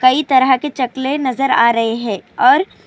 کایی طرح کے شکل نظر ارہے ہیں اور --